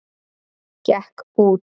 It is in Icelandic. Gekk út!